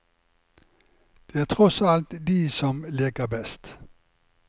Det er tross alt de som leker best.